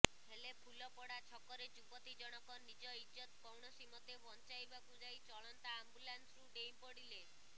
ହେଲେ ଫୁଲପଡା ଛକରେ ଯୁବତୀଜଣକ ନିଜ ଇଜ୍ଜତ କୌଣସିମତେବଞ୍ଚାଇବାକୁ ଯାଇ ଚଳନ୍ତା ଆମ୍ବୁଲାନ୍ସରୁ ଡେଇଁପଡିଲେ